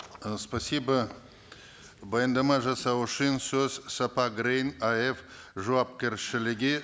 э спасибо баяндама жасау үшін сөз сапа грейн аф жауапкершілігі